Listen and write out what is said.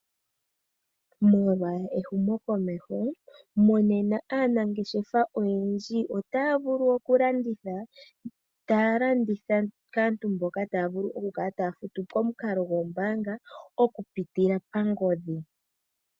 Molwa ehumo komeho monena aanangeshefa oyendji otaya vulu oku landitha, taya landitha kaantu mboka taya vulu oku kala taya futu pamukalo gombaanga oku pitila pangodhi.